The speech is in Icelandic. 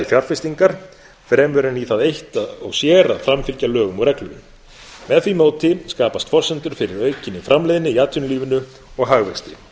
fjárfestingar fremur en í það eitt og sér að framfylgja lögum og reglum með því móti skapast forsendur fyrir aukinni framleiðni í atvinnulífinu og hagvexti